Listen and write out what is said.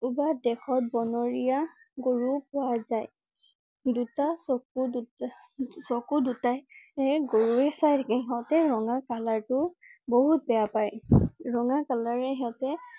কোনোবা দেশত বনৰীয়া গৰু ও পোৱা জাই। দুটা~চকু~দুটা~চকু~দুটা এ গৰোৱে চাই। ইহঁতে ৰঙা colour টো বহুত বেয়া পাই। ৰঙা colour এ সিহঁতে